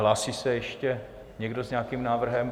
Hlásí se ještě někdo s nějakým návrhem?